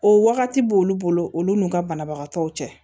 O wagati b'olu bolo olu n'u ka banabagatɔw cɛ